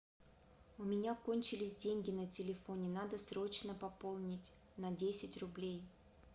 у меня кончились деньги на телефоне надо срочно пополнить на десять рублей